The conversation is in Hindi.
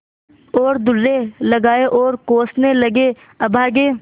और दुर्रे लगाये और कोसने लगेअभागे